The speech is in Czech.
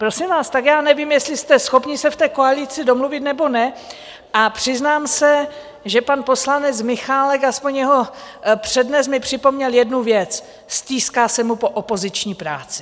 Prosím vás, tak já nevím, jestli jste schopni se v té koalici domluvit, nebo ne, a přiznám se, že pan poslanec Michálek, aspoň jeho přednes, mi připomněl jednu věc: stýská se mu po opoziční práci!